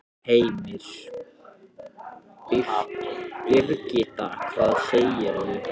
Heimir: Birgitta, hvað segir þú?